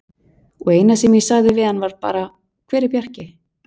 Og eina sem ég sagði við hann var bara: Hver er Bjarki?